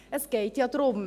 Es geht ja darum: